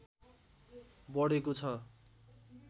बढेको छ